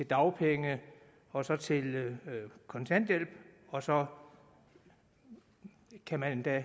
dagpenge og så til kontanthjælp og så kan man endda